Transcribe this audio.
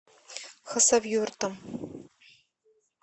хасавюртом